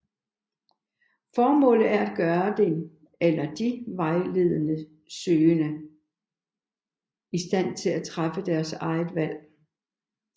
Formålet er at gøre den eller de vejledningssøgende i stand til at træffe deres egen valg